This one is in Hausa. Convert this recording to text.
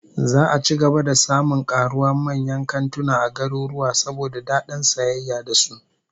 Za'a ci gaba da samun karuwa manyan kantuna a garuruwa, saboda dadin sayayya da su